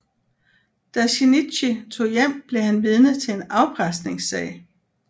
Da Shinichi tog hjem blev han vidne til en afpresningssag